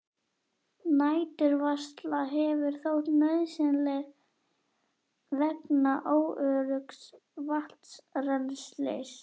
Næturvarsla hefur þótt nauðsynleg vegna óöruggs vatnsrennslis.